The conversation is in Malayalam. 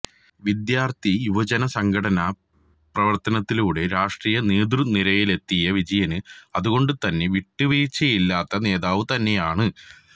വിദ്യാര്ത്ഥി യുവജന സംഘടനാ പ്രവര്ത്തനത്തിലൂടെ രാഷ്ട്രീയ നേതൃനിരയിലെത്തിയ വിജയന് അതുകൊണ്ട് തന്നെ വിട്ടുവീഴ്ചയില്ലാത്ത നേതാവ് തന്നെയാണ്